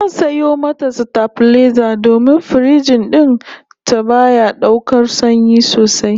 Zan sayo mata sitabilaiza domin firiji din ta baya daukar sanyi sosai